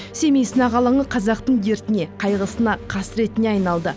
семей сынақ алаңы қазақтың дертіне қайғысына қасіретіне айналды